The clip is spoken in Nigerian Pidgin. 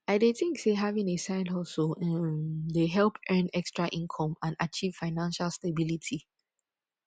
i dey think say having a sidehustle um dey help earn extra income and achieve financial stability